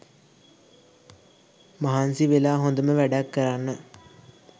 මහන්සි වෙලා හොඳම වැඩක් කරන්න